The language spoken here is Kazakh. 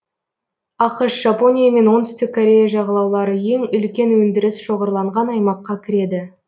ақш жапония мен оңтүстік корея жағалаулары ең үлкен өндіріс шоғырланған аймаққа кіреді